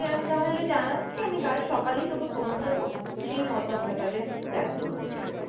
আমি তাহলে জানাচ্ছি, আমি কাল সকালেই তোকে phone করবো সেই মতো আমরা তাহলে plan করবো ঠিক আছে?